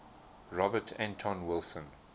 robert anton wilson